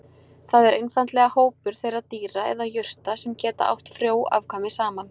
Það er einfaldlega hópur þeirra dýra eða jurta sem geta átt frjó afkvæmi saman.